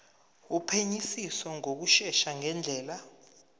wophenyisiso ngokushesha ngendlela